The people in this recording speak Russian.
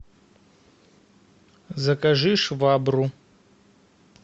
закажи швабру